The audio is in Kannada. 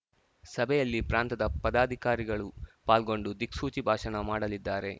ಸಭೆಯಲ್ಲಿ ಪ್ರಾಂತದ ಪದಾಧಿಕಾರಿಗಳು ಪಾಲ್ಗೊಂಡು ದಿಕ್ಸೂಚಿ ಭಾಷಣ ಮಾಡಲಿದ್ದಾರೆ